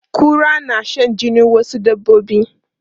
Kura na shan jinin wasu dabbobi.